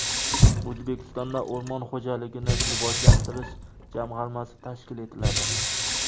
O‘zbekistonda o‘rmon xo‘jaligini rivojlantirish jamg‘armasi tashkil etiladi.